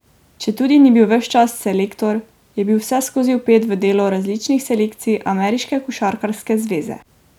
Četudi ni bil ves čas selektor, je bil vseskozi vpet v delo različnih selekcij ameriške košarkarske zveze.